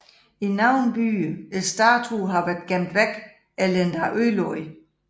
I nogle byer statuen har været gemt væk eller endda ødelagt